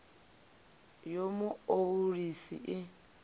ya mu o ulusi i